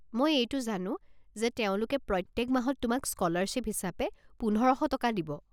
মই এইটো জানো যে তেওঁলোকে প্ৰত্যেক মাহত তোমাক স্ক'লাৰশ্বিপ হিচাপে পোন্ধৰ শ টকা দিব।